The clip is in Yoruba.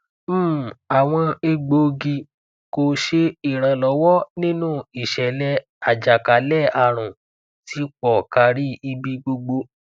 um awọn egboogi ko ṣe iranlọwọ ninu iṣẹlẹ ajakalẹarun ti po kari ibi gbogbo